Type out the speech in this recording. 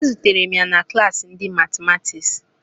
Ezutere m ya na klassi ndị matimatiks